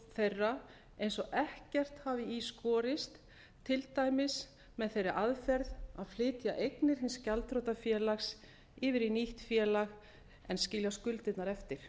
þeirra eins og ekkert hafi í skorist til dæmis með þeirri aðferð að flytja eignir hins gjaldþrota félags yfir í nýtt félag en skilja skuldirnar eftir